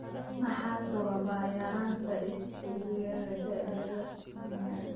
Maxaa sababa yaraanta isobutyryl CoA dehydrogenase (IBD kuyaar)?